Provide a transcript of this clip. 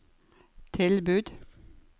tilbud